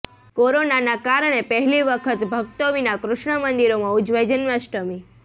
કોરોનાના કારણે પહેલી વખત ભક્તો વિના કૃષ્ણ મંદિરોમાં ઉજવાઈ જન્માષ્ટમી